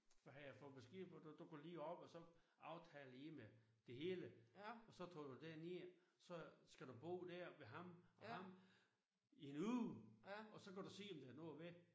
Der havde han fået besked på du du går lige op og så aftaler lige med det hele og så tager du derned så skal du bo der ved ham og ham i en uge og så kan du se om det er noget ved